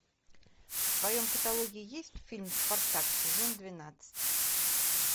в твоем каталоге есть фильм спартак сезон двенадцать